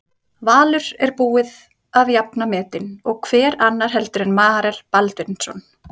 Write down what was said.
Valur er búið að jafna metin og hver annar heldur en Marel Baldvinsson?